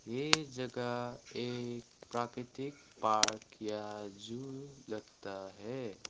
ये जगह एक प्राकृतिक पार्क या जू लगता है।